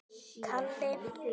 Hvað er að þér maður?